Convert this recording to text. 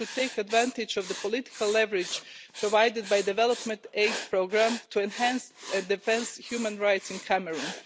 We should take advantage of the political leverage provided by the development aid programme to enhance the defence of human rights in Cameroon.